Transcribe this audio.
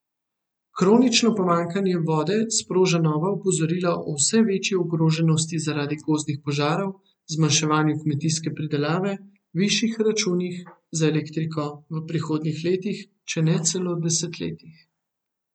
Kronično pomanjkanje vode sproža nova opozorila o vse večji ogroženosti zaradi gozdnih požarov, zmanjševanju kmetijske pridelave, višjih računih za elektriko v prihodnjih letih, če ne celo desetletjih.